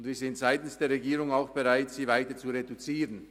Wir sind seitens der Regierung auch bereit, sie weiter zu reduzieren.